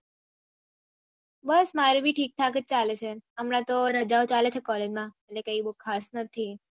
બસ મારે ભી ઠીક થાક અજ ચાલે છે હમણાં તો રજાઓ ચાલે છે કોલેજ મેં એટલે કઈ બહુ ખાસ નથી